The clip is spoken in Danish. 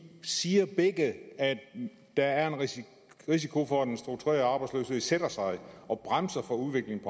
siger begge at der er en risiko risiko for at den strukturelle arbejdsløshed sætter sig og bremser udviklingen